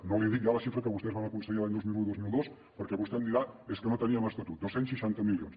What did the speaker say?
i no li dic ja la xifra que vostès van aconseguir l’any dos mil un dos mil dos perquè vostè em dirà és que no teníem estatut dos cents i seixanta milions